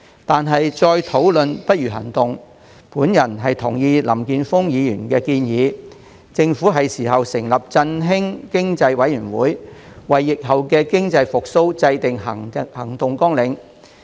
但是，再討論不如行動，我同意林健鋒議員的建議，政府應該成立振興經濟委員會，為疫後經濟復蘇制訂行動綱領。